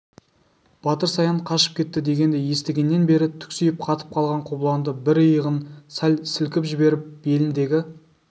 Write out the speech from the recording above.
батыр саян қашып кетті дегенді естігеннен бері түксиіп қатып қалған қобыланды бір иығын сәл сілкіп жіберіп беліндегі